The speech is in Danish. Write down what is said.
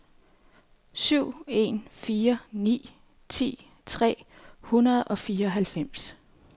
syv en fire ni ti tre hundrede og fireoghalvfems